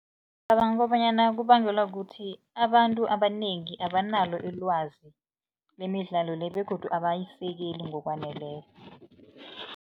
Ngicabanga kobanyana kubangelwa kukuthi, abantu abanengi abanalo ilwazi lemidlalo le begodu abayisekeli ngokwaneleko.